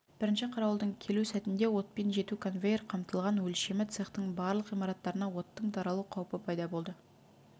бірінші қарауылдың келу сәтінде отпен жеті конвейер қамтылған өлшемі цехтің барлық ғимараттарына оттың таралу қаупі пайда болды